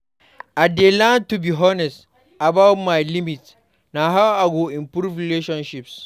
I dey learn to be honest about my limits; na how I go improve relationships.